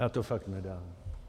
Já to fakt nedám...